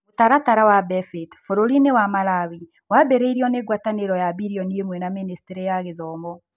Mũtaratara wa BEFIT bũrũri-inĩ wa Malawi wambĩrĩirio nĩ ngwatanĩro ya billion ĩmwe na Ministry ya Gĩthomo.